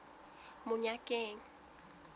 monyakeng